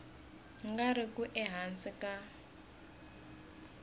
nga ri ku ehansi ka